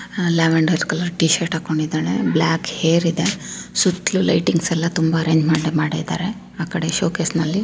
Lavender colour t-shirt ಹಾಕೊಂಡಿದ್ದಳೆ. Black hair ಇದೆ. ಸುತ್ಲು ಲೈಟಿಂಗ್ಸ್ ಎಲ್ಲ ತುಂಬಾ ಅರೇಂಜ್ಮೆಂಟ್ ಮಾಡಿದ್ದಾರೆ ಆ ಕಡೆ ಶೋಕೇಸ್ ನಲ್ಲಿ.